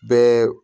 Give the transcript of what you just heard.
Bɛɛ